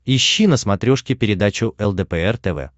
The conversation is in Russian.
ищи на смотрешке передачу лдпр тв